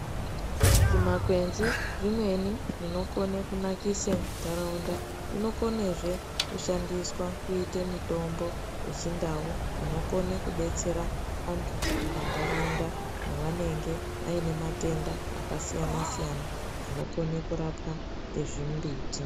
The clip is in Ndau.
Zvimakwenzi zvimweni zvinokone kunakise ndaraunda zvinokonezvee kushandiswa kuite mitombo yechindau inokone kudetsera antu mumandaraunda mavanenge aine matenda akasiyana siyana anokone kurapwa ngezvimbiti.